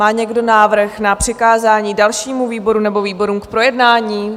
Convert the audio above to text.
Má někdo návrh na přikázání dalšímu výboru nebo výborům k projednání?